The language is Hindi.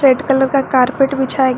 रेड कलर का कारपेट बिछाया गया--